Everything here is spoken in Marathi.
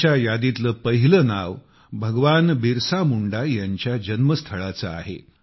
त्यांच्या यादीतील पहिले नाव भगवान बिरसा मुंडांच्या जन्मस्थळाचे आहे